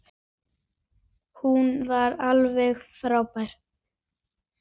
Hún var alveg frábær.